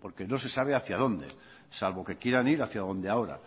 porque no se sabe hacia donde salvo que quieran ir hacia donde ahora